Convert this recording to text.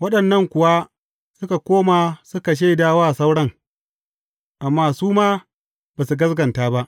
Waɗannan kuwa suka koma suka shaida wa sauran, amma su ma ba su gaskata ba.